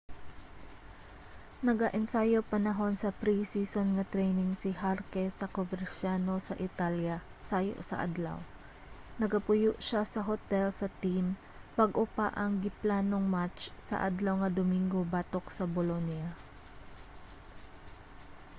nagaensayo panahon sa pre-season nga training si jarque sa coverciano sa italya sayo sa adlaw. nagapuyo siya sa hotel sa team bag-o pa ang giplanong match sa adlaw nga domingo batok sa bolonia